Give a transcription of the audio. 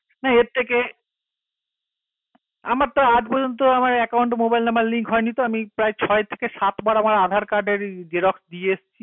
না এর থেকে আমার তো আজ পযন্ত account number link তো আমি তো ছয় এর থেকে সাত বার aadhar card এর xerox দিয়ে আসছি